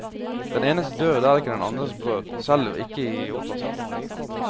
Den enes død er ikke den andres brød, selv ikke i operasaken.